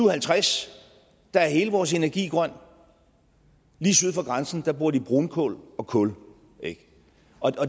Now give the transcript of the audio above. og halvtreds er hele vores energi grøn lige syd for grænsen bruger de brunkul og kul